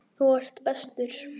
Þú ert bestur.